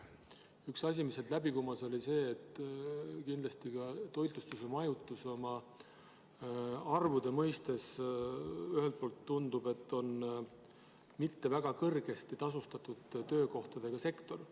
Üks asi, mis sealt läbi kumas, oli see, et toitlustus ja majutus tundub arvude järgi otsustades olevat mitte väga kõrgesti tasustatud töökohtadega sektor.